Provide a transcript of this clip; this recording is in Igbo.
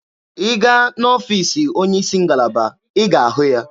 Ị gaa n'ọfiisi onye isi ngalaba, ị ga-ahụ ya.